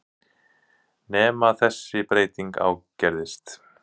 Nema þessi breyting ágerðist.